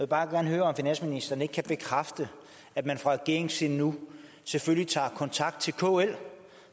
bare gerne høre om finansministeren ikke kan bekræfte at man fra regeringens side nu selvfølgelig tager kontakt til kl og